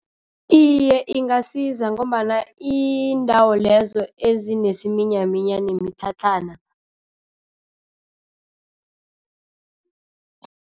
Iye, ingasiza ngombana iindawo lezo ezinesiminyaminya nemitlhatlhana.